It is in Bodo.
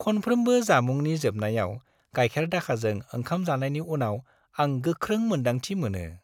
खनफ्रोमबो जामुंनि जोबनायाव गाइखेर-दाखाजों ओंखाम जानायनि उनाव आं गोख्रों मोन्दांथि मोनो।